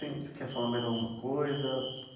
Tem, você quer falar mais alguma coisa?